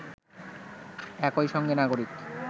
একই সঙ্গে নাগরিক